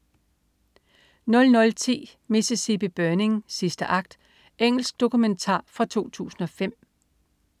00.10 Mississippi Burning, sidste akt. Engelsk dokumentar fra 2005